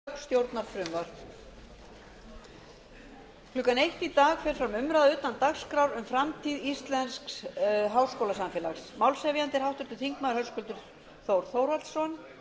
klukkan eitt í dag fer fram umræða utan dagskrár um framtíð íslensks háskólasamfélags málshefjandi er háttvirtur þingmaður höskuldur þór þórhallsson